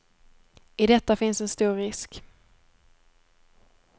I detta finns en stor risk.